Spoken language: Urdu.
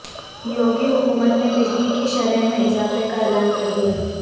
یوگی حکومت نے بجلی کی شرح میں اضافے کا اعلان کردیا